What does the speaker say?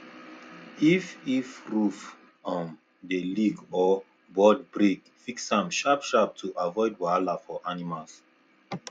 if if roof um dey leak or board break fix am sharp sharp to avoid wahala for animals